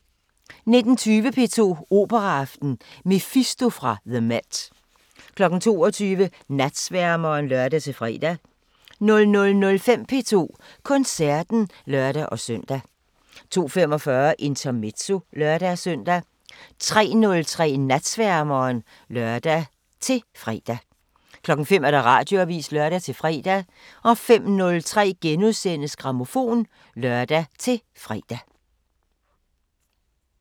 19:20: P2 Operaaften: Mefisto fra the MET 22:00: Natsværmeren (lør-fre) 00:05: P2 Koncerten (lør-søn) 02:45: Intermezzo (lør-søn) 03:03: Natsværmeren (lør-fre) 05:00: Radioavisen (lør-fre) 05:03: Grammofon *(lør-fre)